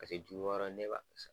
Paseke ju wɔɔrɔ ne b'a